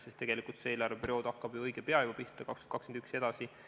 Sest tegelikult see eelarveperiood hakkab ju pihta õige pea – 2021 ja edasi.